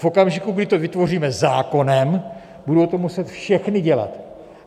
V okamžiku, kdy to vytvoříme zákonem, budou to muset všechny dělat.